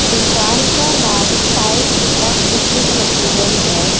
दुकान का नाम साईं कृपा फिशिंग मटेरियल है।